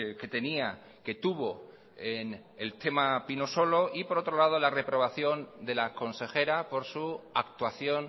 que tenía que tuvo en el tema pinosolo y por otro lado la reprobación de la consejera por su actuación